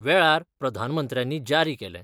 वेळार प्रधानमंत्र्यानी जारी केलें.